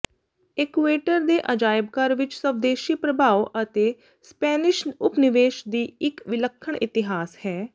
ਇਕੂਏਟਰ ਦੇ ਅਜਾਇਬ ਘਰ ਵਿਚ ਸਵਦੇਸ਼ੀ ਪ੍ਰਭਾਵ ਅਤੇ ਸਪੈਨਿਸ਼ ਉਪਨਿਵੇਸ਼ ਦੀ ਇਕ ਵਿਲੱਖਣ ਇਤਿਹਾਸ ਹੈ